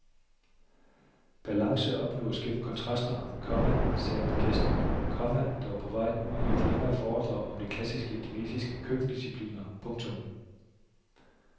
Balance opnås gennem kontraster, komma sagde min gæst, komma der var på vej ud i et længere foredrag om de klassiske kinesiske køkkendiscipliner. punktum